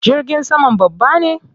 Jirgin saman babba ne?